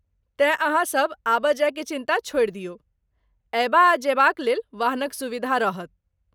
तेँ ,अहाँसभ आबय जाय केँ चिन्ता छोड़ि दियौ। अयबा आ जयबा क लेल वाहन क सुविधा रहत